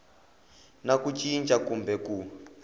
na ku cinca kumbe ku